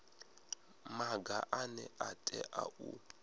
maga ane a tea u